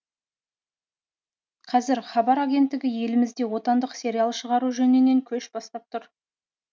қазір хабар агенттігі елімізде отандық сериал шығару жөнінен көш бастап тұр